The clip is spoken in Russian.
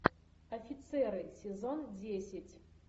офицеры сезон десять